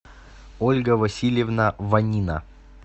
ольга васильевна ванина